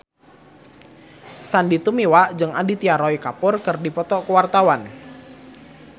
Sandy Tumiwa jeung Aditya Roy Kapoor keur dipoto ku wartawan